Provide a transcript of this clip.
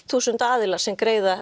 þúsund aðilar sem greiða